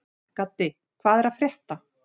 Gaddi, hvað er að frétta?